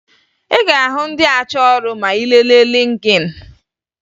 Ị ga-ahụ ndị achọ ọrụ ma ị lelee Lịnkịn